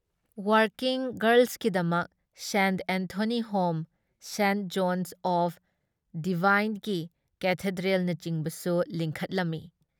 Working ꯒꯥꯔꯜꯁꯀꯤꯗꯃꯛ Saint Anthony Home, Saint John of ꯗꯤꯚꯥꯏꯟꯒꯤ ꯀꯦꯊꯦꯗ꯭ꯔꯦꯜꯅꯆꯤꯡꯕꯁꯨ ꯂꯤꯡꯈꯠꯂꯝꯃꯤ ꯫